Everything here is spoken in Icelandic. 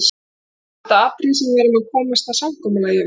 Annars er þetta atriði sem við verðum að komast að samkomulagi um.